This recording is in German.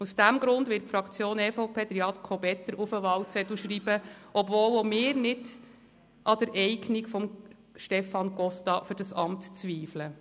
Aus diesem Grund wird die Fraktion EVP Jakob Etter auf den Wahlzettel schreiben, obwohl auch wir nicht an der Eignung von Stefan Costa für das Amt zweifeln.